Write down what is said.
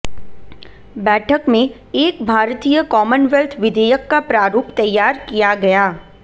बैठक में एक भारतीय कॉमनवैल्थ विधेयक का प्रारूप तैयार किया गया